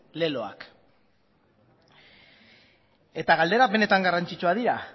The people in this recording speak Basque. leloak eta galderak benetan garrantzitsuak dira